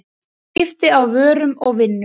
Skipti á vörum og vinnu.